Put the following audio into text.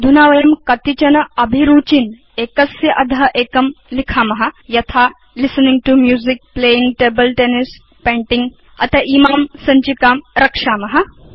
अधुना वयं कतिचन अभिरुचीन् एकस्य अध एकं लिखेम यथा listening to music playing table tennisपेंटिंग अथ इमां सञ्चिकां रक्षेम